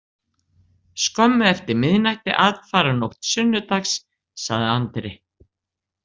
Skömmu eftir miðnætti aðfararnótt sunnudags, sagði Andri.